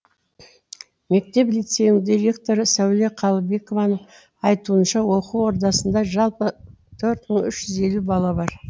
мектеп лицейнің директоры сәуле қалыбекованың айтуынша оқу ордасында жалпы төрт мың үш жүз елу бала бар